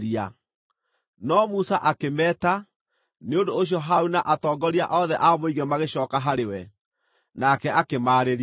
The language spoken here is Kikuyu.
No Musa akĩmeeta; nĩ ũndũ ũcio Harũni na atongoria othe a mũingĩ magĩcooka harĩ we, nake akĩmaarĩria.